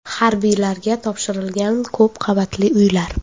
Harbiylarga topshirilgan ko‘p qavatli uylar.